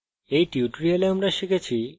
in tutorial আমরা শিখেছি